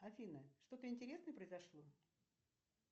афина что то интересное произошло